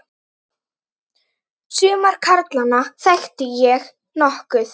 Suma karlana þekkti ég nokkuð.